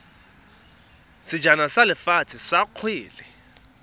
sejana sa lefatshe sa kgwele